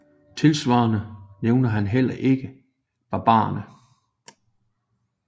Tilsvarende nævner han heller ikke barbarerne